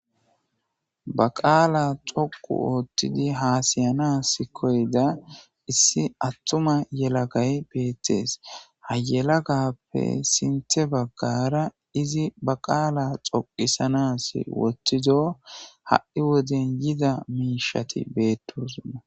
Ba qaala xoqqu oottidi haasayanas koyida issi attuma yelagay beettes. Ha yelagappe sinththe baggara izi ba xoqqisanas wottido ha'i wode yida miishshati beettosona.